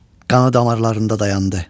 Qanı damarlarında dayandı.